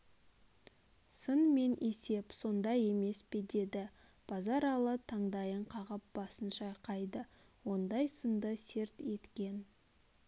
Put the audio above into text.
сын мен есеп сонда емес пе деді базаралы таңдайын қағып басын шайқады ондай сынды серт еткен